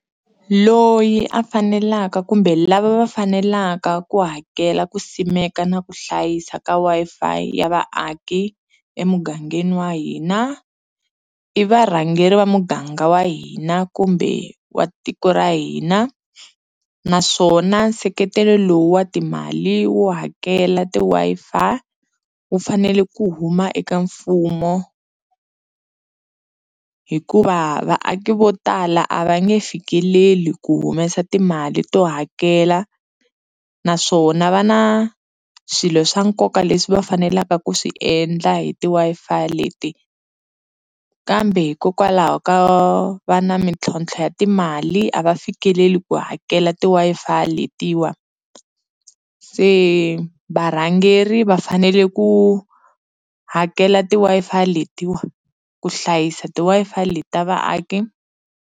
Loyi a fanelaka kumbe lava va fanelaka ku hakela ku simeka na ku hlayisa ka Wi-Fi ya vaaki emugangeni wa hina i varhangeri va muganga wa hina kumbe wa tiko ra hina naswona nseketelo lowu wa timali wo hakela ti-Wi-Fi wu fanele ku huma eka mfumo hikuva vaaki vo tala a va nge fikeleli ku humesa timali to hakela naswona va na swilo swa nkoka leswi va faneleka ku swi endla hi ti-Wi-Fi leti kambe hikokwalaho ka va na mintlhontlho ya timali a va fikeleli ku hakela ti-Wi-Fi letiwa se varhangeri va fanele ku hakela ti-Wi-Fi letiwa ku hlayisa ti-Wi-Fi leti ta vaaki.